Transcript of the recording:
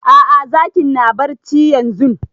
A'a zakin na barci yanzun